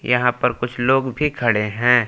यहां पर कुछ लोग भी खड़े हैं।